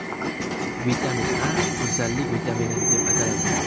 Vitamin A go‘zallik vitamini, deb ataladi.